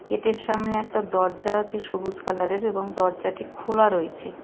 গেটের সামনে একটা দরজা আছে সবুজ কালারের এবং দরজাটি খোলা রয়েছে.